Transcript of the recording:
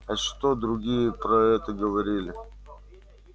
а что другие про это говорили